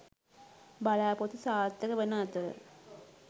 බලාපොරොත්තු සාර්ථක වන අතර